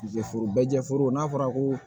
Jɛforo bɛ jɛ foro n'a fɔra ko